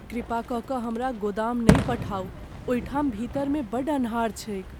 कृपा कऽ कऽ हमरा गोदाम नहि पठाउ। ओहिठाम भीतर मे बड्ड अन्हार छैक।